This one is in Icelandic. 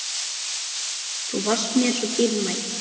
Þú varst mér svo dýrmæt.